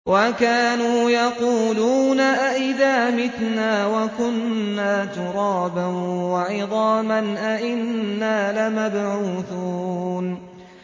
وَكَانُوا يَقُولُونَ أَئِذَا مِتْنَا وَكُنَّا تُرَابًا وَعِظَامًا أَإِنَّا لَمَبْعُوثُونَ